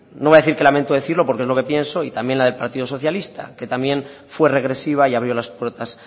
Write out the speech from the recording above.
no voy a decir que lamento decirlo porque es lo que pienso y también la del partido socialista que también fue regresiva y abrió las puertas